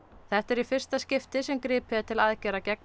þetta er í fyrsta skipti sem gripið er til aðgerða gegn